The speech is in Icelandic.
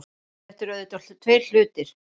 Þetta eru auðvitað tveir hlutir